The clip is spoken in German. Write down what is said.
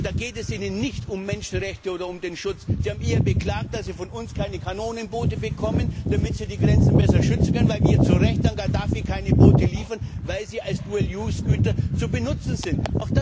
Und da geht es ihnen nicht um die Menschenrechte oder um den Schutz, sie haben eher beklagt, dass sie von uns keine Kanonenbote bekommen, damit sie die Grenzen besser schützen können, weil wir zu Recht an Gaddafi keine Bote liefern, weil sie als Dual Use Güter verwendet werden können.